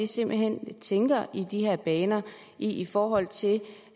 simpelt hen tænker i de her baner i forhold til